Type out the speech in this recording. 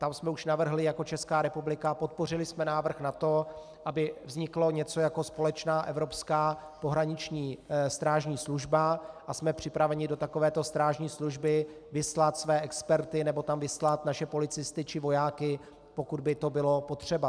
Tam jsme už navrhli jako Česká republika, podpořili jsme návrh na to, aby vzniklo něco jako společná evropská pohraniční strážní služba, a jsme připraveni do takovéto strážní služby vyslat své experty nebo tam vyslat naše policisty či vojáky, pokud by to bylo potřeba.